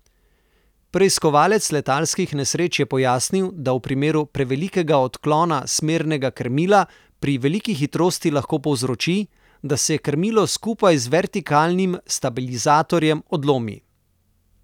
Preiskovalec letalskih nesreč je pojasnil, da v primeru prevelikega odklona smernega krmila pri veliki hitrosti lahko povzroči, da se krmilo skupaj z vertikalnim stabilizatorjem odlomi.